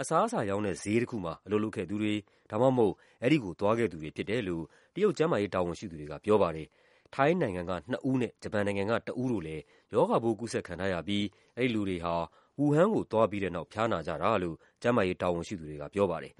အစားအစာရောင်းတဲ့ ဈေးတခုမှာ အလုပ်လုပ်ခဲ့သူတွေ ဒါမှမဟုတ် အဲဒီကို သွားခဲ့သူတွေ ဖြစ်တယ်လို့ တရုတ် ကျန်းမာရေးတာဝန်ရှိသူတွေက ပြောပါတယ်။ ထိုင်းနိုင်ငံက နှစ်ဦးနဲ့ ဂျပန်နိုင်ငံက တဦးတို့လည်း ရောဂါပိုး ကူးစက်ခံထားရပြီး အဲဒီလူတွေဟာ ဝူဟမ်ကိုသွားပြီးတဲ့နောက် ဖျားနာကြတာလို့ ကျန်းမာရေး တာဝန်ရှိသူတွေက ပြောပါတယ်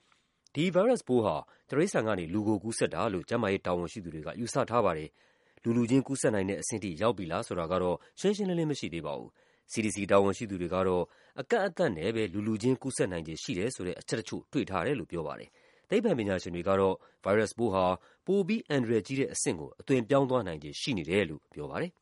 ။ ဒီဗိုင်းရပ်စ်ပိုးဟာ တိရစ္ဆာန်ကနေ လူကို ကူးစက်တာလို့ ကျန်းမာရေး တာဝန်ရှိသူတွေက ယူဆထားပါတယ်။ လူူလူချင်း ကူးစက်နိုင်တဲ့အဆင့်ထိ ရောက်ပြီလား ဆိုတာကတော့ ရှင်းရှင်းလင်းလင်း မရှိသေးပါဘူး။ CDC တာဝန်ရှိသူတွေကတော့ အကန့်အသတ်နဲ့ပဲ လူလူချင်း ကူးစက်နိုင်ခြေ ရှိတယ်ဆိုတဲ့ အချက်တချို့ တွေ့ထားတယ်လို့ ပြောပါတယ်။ သိပ္ပံပညာရှင်တွေကတော့ ဗိုင်းရပ်စ်ဟာ ပိုပြီး အန္တရာယ်ကြီးတဲ့အဆင့်ကို အသွင်ပြောင်းသွားနိုင်ခြေ ရှိနေတယ်လို့ ပြောပါတယ်။